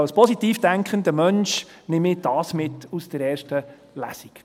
Als positiv denkender Mensch nehme ich das mit aus der erste Lesung.